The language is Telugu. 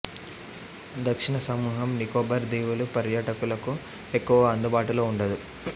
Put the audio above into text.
దక్షిణ సమూహం నికోబార్ దీవులు పర్యాటకులకు ఎక్కువగా అందుబాటులో ఉండదు